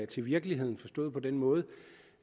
til virkeligheden forstået på den måde